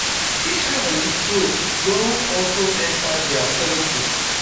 israeli troops don also enta dia territory